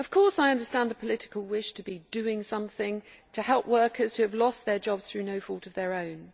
I understand the political wish to be doing something to help workers who have lost their jobs through no fault of their own.